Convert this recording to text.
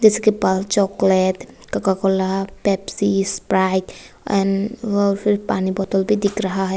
इसके पास chocolate Coca Cola Pepsi Sprite and पानी की बोतल भी दिखाई दे रहे हैं।